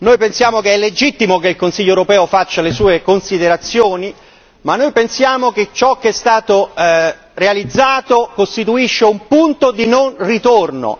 Riteniamo legittimo che il Consiglio europeo faccia le sue considerazioni ma pensiamo altresì che ciò che è stato realizzato costituisca un punto di non ritorno.